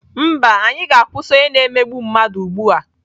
Mba, anyị ga-akwụsị onye na-emegbu mmadụ ugbu a!